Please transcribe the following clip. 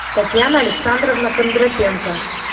татьяна александровна кондратенко